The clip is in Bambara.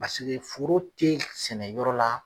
Paseke foro te sɛnɛ yɔrɔ la